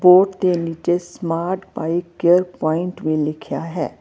Board ਦੇ ਨੀਚੇ smart bike care point ਵੀ ਲਿਖਿਆ ਹੈ।